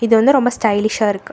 இது வந்து ரொம்ப ஸ்டைலிஷா இருக்கு.